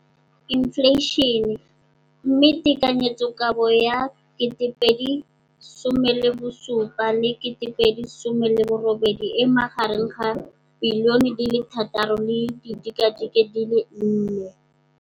Infleišene, mme tekanyetsokabo ya 2017, 18, e magareng ga R6.4 bilione.